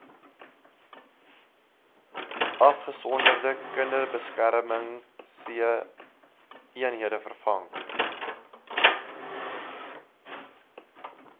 afgesonderde kinderbeskermingseenhede vervang